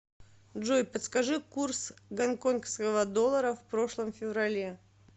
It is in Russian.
джой подскажи курс гонконгского доллара в прошлом феврале